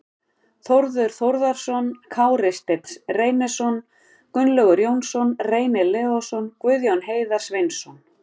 Þórður Þórðarson, Kári Steinn Reynisson, Gunnlaugur Jónsson, Reynir Leósson, Guðjón Heiðar Sveinsson